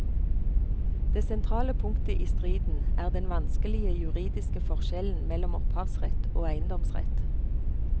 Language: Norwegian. Det sentrale punktet i striden er den vanskelige juridiske forskjellen mellom opphavsrett og eiendomsrett.